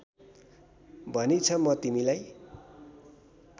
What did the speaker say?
भनिछ म तिमीलाई